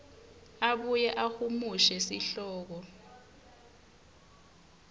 abuye ahumushe sihloko